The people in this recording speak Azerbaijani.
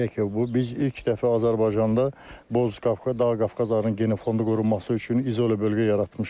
Deyək ki, biz ilk dəfə Azərbaycanda Boz Qafqaz Dağ Qafqaz arının genofondu qurulması üçün izolyə bölgə yaratmışıq.